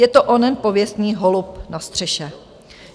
Je to onen pověstný holub na střeše.